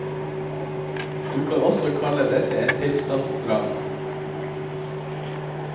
Du kan også kalle dette et tilstandsdrama.